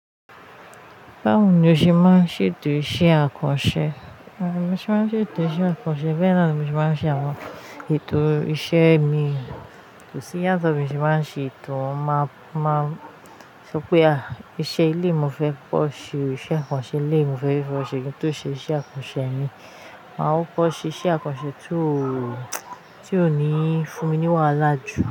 Báwo ni o ṣe máa ń ṣe ètò iṣẹ́ àkànṣe? Òye, mo ṣe máa ń ṣe ètò iṣẹ́ àkànṣe, bẹ́ẹ̀ ni ni mo ṣe máa ń ṣe àwọn ètò iṣẹ́ mi. Kò sí yàtọ̀ bí mo ṣe máa ń ṣe ètò má, máa sọ pé à, iṣẹ́ ilé ìwé mo fẹ́ kọ́ ṣe òṣìṣẹ́ àkànṣe, ilé ìwé mo fẹ́ rí fún ọ̀ṣẹ̀ kí n tó ṣe iṣẹ́ àkànṣe mi. Màá ó kọ́ ṣe iṣẹ́ àkànṣe tí ó, tí ó níí fún mi ní wàhálà jù.